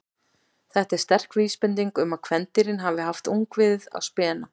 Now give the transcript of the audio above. Þetta er sterk vísbending um að kvendýrin hafi haft ungviðið á spena.